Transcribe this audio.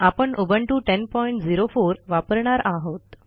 आपण उबुंटू 1004 वापरणार आहोत